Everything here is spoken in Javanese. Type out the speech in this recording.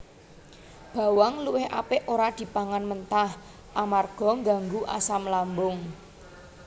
Bawang luwih apik ora dipangan mentah amarga ngganggu asam lambung